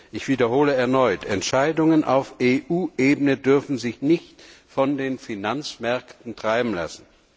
Ich wiederhole erneut Entscheidungen auf EU Ebene dürfen sich nicht von den Finanzmärkten treiben lassen.